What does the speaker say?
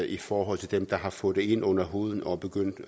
i forhold til dem der har fået det ind under huden og er begyndt